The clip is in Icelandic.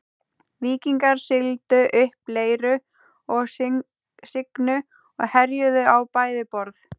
Víkingar sigldu upp Leiru og Signu og herjuðu á bæði borð.